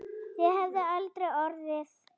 Það hefði aldrei orðið.